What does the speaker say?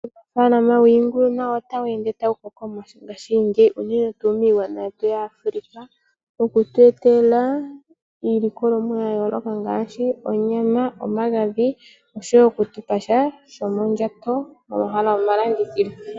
Uunafaalama wiingulu nawo ota wu ende tawu koko, unene tuu miilongo yetu yaAfrica. Oha yi tu etele iilikolomwa yayooloka ngaashi onyama, omagadhi noshowo oku tu pasha sho mondjato.